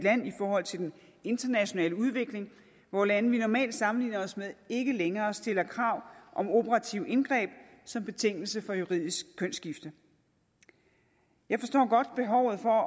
i forhold til den internationale udvikling hvor lande vi normalt sammenligner os med ikke længere stiller krav om operative indgreb som betingelse for juridisk kønsskifte jeg forstår godt behovet for at